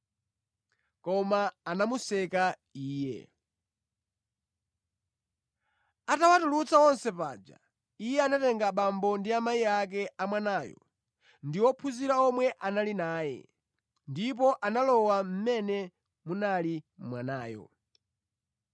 Koma anamuseka Iye. Atawatulutsa onse panja, Iye anatenga abambo ndi amayi ake a mwanayo ndi ophunzira omwe anali naye, ndipo analowa mʼmene munali mwanayo.